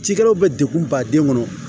Cikɛlaw bɛ degun baden kɔnɔ